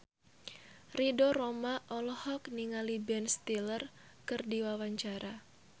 Ridho Roma olohok ningali Ben Stiller keur diwawancara